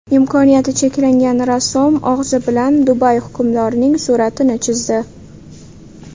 Imkoniyati cheklangan rassom og‘zi bilan Dubay hukmdorining suratini chizdi .